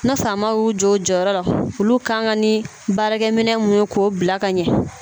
Ne faama y'u jɔ u jɔyɔrɔ la olu kan ka ni baarakɛminɛn mun ye k'o bila ka ɲɛ